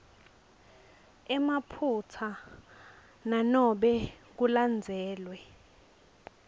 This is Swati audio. emaphutsa nanobe kulandzelwe